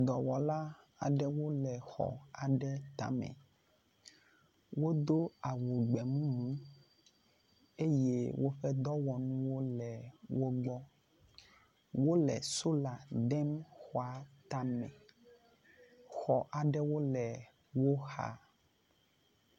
Dɔwɔla aɖewo le xɔ aɖe tame, wodo awu gbemumu eye woƒe dɔwɔnuwo le wogbɔ, wole sola dem xɔa tame, xɔ aɖewo le woxa